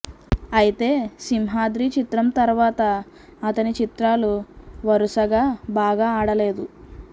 ఐతే సింహాద్రి చిత్రం తర్వాత అతని చిత్రాలు వరుసగా బాగా ఆడలేదు